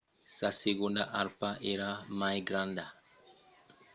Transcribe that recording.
sa segonda arpa èra mai granda e donèt lòc al nom hesperonychus que significa arpa occidentala.